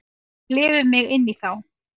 Og ég lifi mig inn í þá.